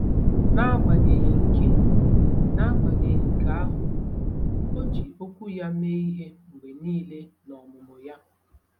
N’agbanyeghị nke N’agbanyeghị nke ahụ, o ji Okwu ya mee ihe mgbe nile n’ọmụmụ ya.